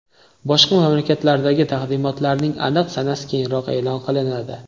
Boshqa mamlakatlardagi taqdimotlarning aniq sanasi keyinroq e’lon qilinadi.